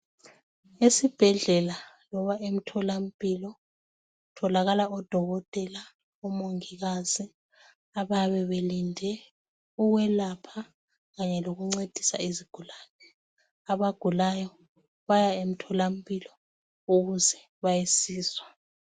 Esibhedlela loba emtholampilo kutholakala odokotela omongikazi abayabe belinde ukwelapha kanye lokuncedisa izigulane abagulayo baya emtholampilo ukuze bayasizwa.